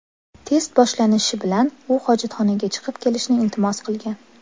Test boshlanishi bilan u hojatxonaga chiqib kelishni iltimos qilgan.